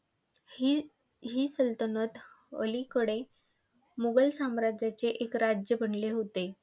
ही ही सल्तनत अलिकडे मुघल साम्राज्याचे एक राज्य बनले होते.